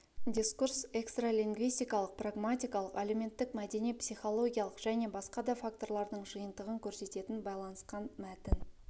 дискурс экстралингвистикалық-прагматикалық әлеуметтік-мәдени психологиялық және басқа да факторлардың жиынтығын көрсететін байланысқан мәтін